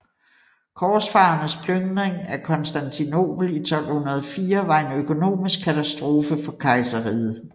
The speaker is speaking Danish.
Korsfarernes plyndring af Konstantinopel i 1204 var en økonomisk katastrofe for kejserriget